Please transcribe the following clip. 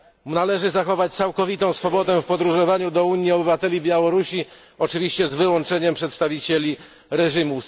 Należy zachować całkowitą swobodę w podróżowaniu do Unii obywateli Białorusi, oczywiście z wyłączeniem przedstawicieli reżimu.